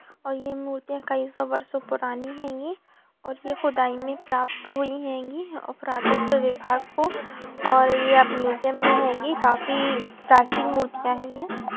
और यह मूर्तियां कई सौ बरसो पुरानी हैंगी और ये खुदाई में प्राप्त हुई हैंगी और पुरातत्व विभाग को और ये अब म्यूजियम में हैंगी काफी प्राचीन मूर्तियां है ये।